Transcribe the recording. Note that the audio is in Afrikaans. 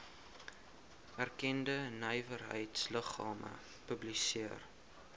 erkende nywerheidsliggame publiseer